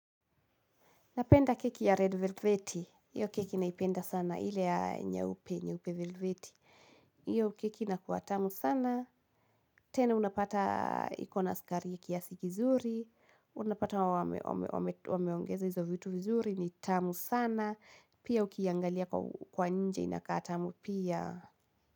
Napenda keki ya red velveti. Iyo keki naipenda sana. Ile ya nyeupe, nyeupe velveti. Iyo keki inakuwa tamu sana. Tena unapata ikona sukari ya kiasi kizuri. Unapata wameongeza hizo vitu vizuri ni tamu sana. Pia ukiangalia kwa nje inakaa tamu pia.